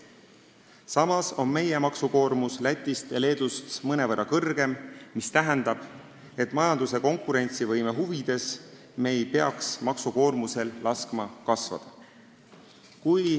Samas on meie maksukoormus Lätist ja Leedust mõnevõrra suurem, mis tähendab, et majanduse konkurentsivõime huvides ei peaks me maksukoormusel kasvada laskma.